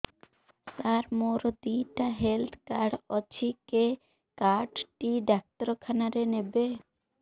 ସାର ମୋର ଦିଇଟା health card ଅଛି କେ କାର୍ଡ ଟି ଡାକ୍ତରଖାନା ରେ ନେବେ